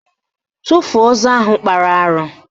Tufuo ozu nwoke ahụ kpara arụ!